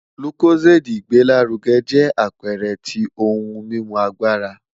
Lucozade igbelaruge jẹ apẹẹrẹ ti ohun mimu agbara